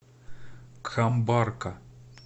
камбарка